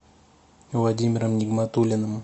владимиром нигматуллиным